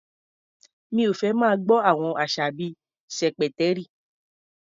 Mi ò fẹ́ máa gbọ́ àwọn àṣà bí i "ṣẹ̀pẹ̀tẹ́rì".